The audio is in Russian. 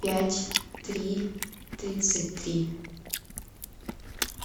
пять три тридцать три